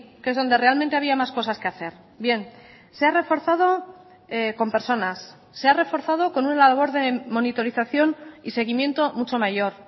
que es donde realmente había más cosas que hacer bien se ha reforzado con personas se ha reforzado con una labor de monitorización y seguimiento mucho mayor